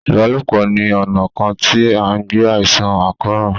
ìbálòpọ̀ ni ona kàn tí an gbé àìsàn àkóràn.